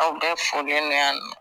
A bɛ foli ne yan nɔ